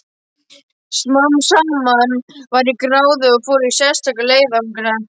Smám saman varð ég gráðug og fór í sérstaka leiðangra.